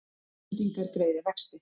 Íslendingar greiði vexti